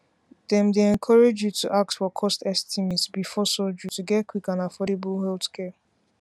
dem dey encourage you to ask for cost estimate before surgery to get quick and affordable healthcare